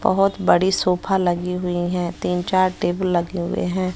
बहोत बड़ी सोफा लगी हुई हैं तीन चार टेबल लगे हुए हैं।